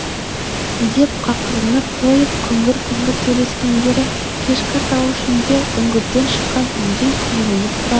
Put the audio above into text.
деп қақырынып қойып күңгір-күңгір сөйлескендері кешкі тау ішінде үңгірден шыққан үндей күңіреніп тұрады